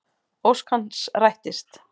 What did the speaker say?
Ósk hans rættist.